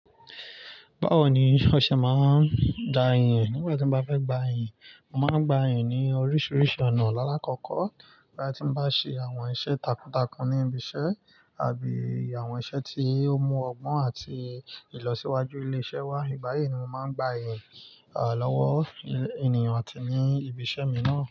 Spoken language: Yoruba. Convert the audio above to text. Báwo ni ọṣẹ máa ń da yìn ẹ́ nígbà tí mo bá fẹ́ gba yìn. Mo máa ń gba yìn ní oríṣiríṣi ọ̀nà. Lálá kọ́kọ́, igba ti mo bá ṣe àwọn iṣẹ́ takuntakun ní ibi iṣẹ́ àti àwọn iṣẹ́ tí ó mú ọgbọ́n àti ìlọsíwájú ilé iṣẹ́ wa, ìgbà yìí ni mo máa ń gba yìn lọ́wọ́ ènìyàn àti ní ibi iṣẹ́ mi náà.